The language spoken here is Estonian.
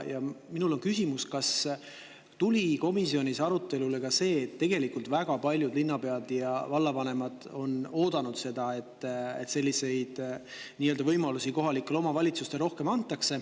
Minul on küsimus, kas tuli komisjonis arutelule ka see, et tegelikult on väga paljud linnapead ja vallavanemad oodanud seda, et selliseid võimalusi kohalikele omavalitsustele rohkem antaks.